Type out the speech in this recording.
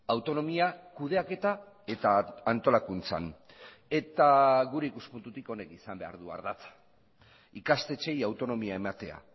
autonomia kudeaketa eta antolakuntzan eta gure ikuspuntutik honek izan behar du ardatza ikastetxeei autonomia ematea